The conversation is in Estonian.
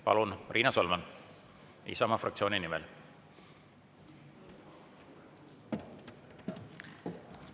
Palun, Riina Solman, Isamaa fraktsiooni nimel!